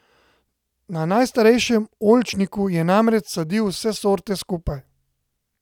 Na najstarejšem oljčniku je namreč sadil vse sorte skupaj.